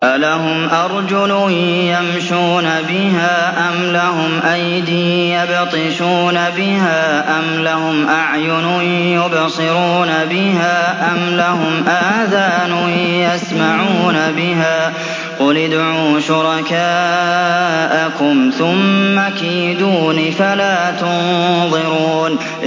أَلَهُمْ أَرْجُلٌ يَمْشُونَ بِهَا ۖ أَمْ لَهُمْ أَيْدٍ يَبْطِشُونَ بِهَا ۖ أَمْ لَهُمْ أَعْيُنٌ يُبْصِرُونَ بِهَا ۖ أَمْ لَهُمْ آذَانٌ يَسْمَعُونَ بِهَا ۗ قُلِ ادْعُوا شُرَكَاءَكُمْ ثُمَّ كِيدُونِ فَلَا تُنظِرُونِ